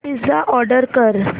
pizza order कर